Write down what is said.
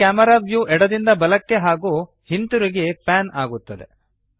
ಈ camera view ಎಡದಿಂದ ಬಲಕ್ಕೆ ಹಾಗೂ ಹಿಂತಿರುಗಿ ಪ್ಯಾನ್ ಆಗುತ್ತದೆ